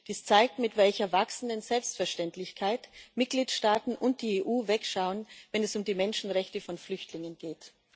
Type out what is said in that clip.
Dies zeigt, mit welcher wachsenden Selbstverständlichkeit Mitgliedstaaten und die EU wegschauen, wenn es um die Menschenrechte von Flüchtlingen geht.